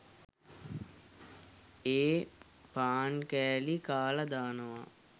ඒ පාන් කෑලි කාල දානවා.